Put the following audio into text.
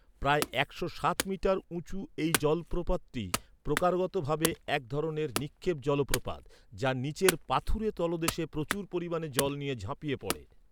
প্রায় একশো সাত মিটার উঁচু এই জলপ্রপাতটি প্রকারগত ভাবে, এক ধরনের 'নিক্ষেপ জলপ্রপাত, যা নীচের পাথুরে তলদেশে প্রচুর পরিমাণে জল নিয়ে ঝাঁপিয়ে পড়ে।